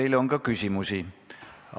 Teile on ka küsimusi.